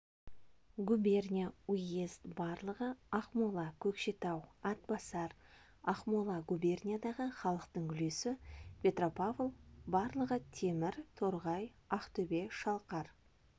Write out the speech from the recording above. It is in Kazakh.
губерния уезд барлығы ақмола көкшетау атбасар ақмола губерниядағы халықтың үлесі петропавл барлығы темір торғай ақтөбе шалқар